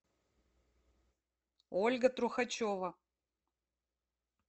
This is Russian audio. ольга трухачева